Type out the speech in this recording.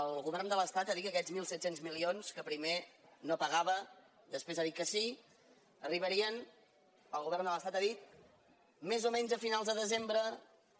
el govern de l’estat ha dit que aquests mil set cents milions que primer no pagava després ha dit que sí arribarien el govern de l’estat ha dit més o menys a finals de desembre